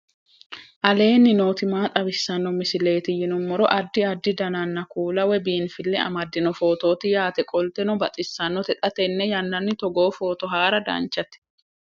aleenni nooti maa xawisanno misileeti yinummoro addi addi dananna kuula woy biinfille amaddino footooti yaate qoltenno baxissannote xa tenne yannanni togoo footo haara danchate